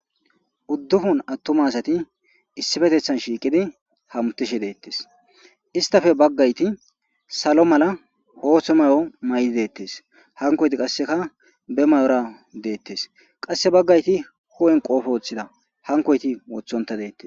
Uddufun attuma asati issifetethan shiiqidi hamutishi deettes istafe baggayti salo mala hoohtho mayo maydi deettes hankoyti qasseka be mayora deettes qasse baggayti ho;en qoofo woththida hankoyti wothonta deettes.